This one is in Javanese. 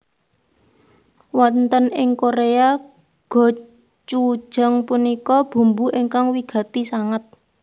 Wonten ing Korea gochujang punika bumbu ingkang wigati sanget